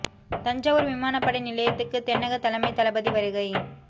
தஞ்சாவூா் விமானப் படை நிலையத்துக்கு தென்னக தலைமைத் தளபதி வருகை